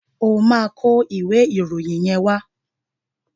Ó máa kọ ìwé ìròyìn yẹn wá.